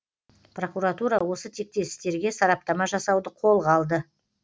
прокуратура осы тектес істерге сараптама жасауды қолға алды